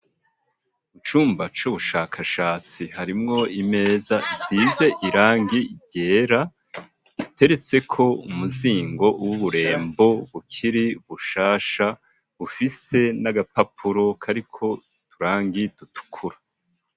Mu cumba c'ubushakashatsi harimwo imeza isize irangi ryera, iteretseko umuzingo w'uburembo bukiri bushasha ,bufise n'agapapuro kariko uturangi dutukura.